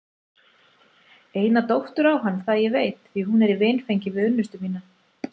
Eina dóttur á hann það ég veit því hún er í vinfengi við unnustu mína.